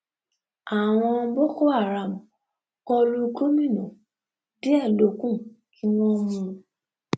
àwọn boko haram kọ lu gomina díẹ ló kù kí wọn mú un